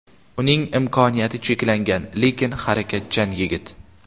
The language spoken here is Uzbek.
Uning imkoniyati cheklangan, lekin harakatchan yigit.